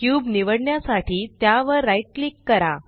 cube निवडण्यासाठी त्यावर right click करा